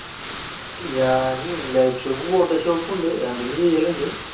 ഞാൻ light room ഉം photoshop ഉം ഉണ്ട്. രണ്ടിലും ഞാൻ ചെയ്യൽ ഉണ്ട്.